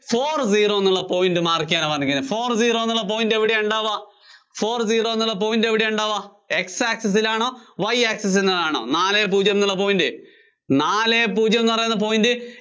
four zero എന്നുള്ള point mark ചെയ്യാനാ പറഞ്ഞെക്കുന്നെ. four zero എന്നുള്ള point എവിടെയാ ഉണ്ടാവുക? four zero എന്നുള്ള point എവിടെയാ ഉണ്ടാവുക X access ല്‍ ആണോ, Y access ല്‍ ആണോ നാലേ പൂജ്യം എന്നുള്ള point? നാലേ പൂജ്യം എന്നുപറയുന്ന point